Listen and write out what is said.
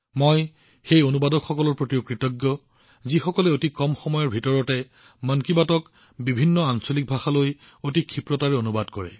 মই অনুবাদকসকলৰ প্ৰতিও কৃতজ্ঞ যিয়ে অতি কম সময়ৰ ভিতৰতে মন কী বাতক বিভিন্ন আঞ্চলিক ভাষালৈ অনুবাদ কৰে